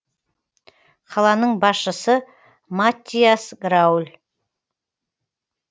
қаланың басшысы маттиас грауль